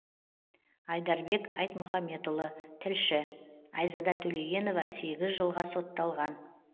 айдарбек айтмұхамбетұлы тілші айзада төлегенова сегіз жылға сотталған